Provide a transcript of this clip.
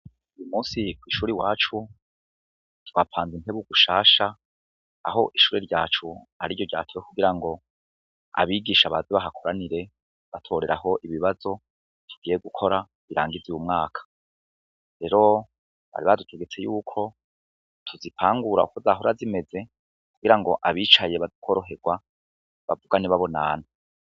Uyu musi kw'ishuri iwacu twapanze intebe gushasha aho ishuri ryacu ari ryo ryatowe kugira ngo abigisha baze bahakoranire batoreraho ibibazo tugiye gukora birangize uwu mwaka, rero bari badutegetse yuko tuzipangura uko zahora zimeze kugira ngo abicaye bakoroherwa bavugane babonana.